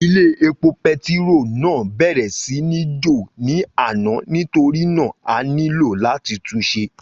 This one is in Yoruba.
Ilé epo pẹtiro náà bèrè sí ní jò ní àná nítorínà a nílò làti túnṣe.